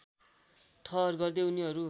ठहर गर्दै उनीहरू